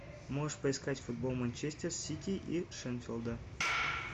можешь поискать футбол манчестер сити и шеффилда